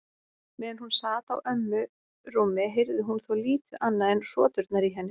Meðan hún sat á ömmu rúmi heyrði hún þó lítið annað en hroturnar í henni.